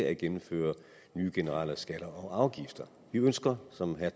at gennemføre nye generelle skatter og afgifter vi ønsker som herre